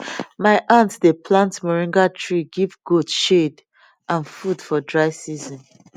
my aunt dey plant moringa tree give goat shade and food for dry season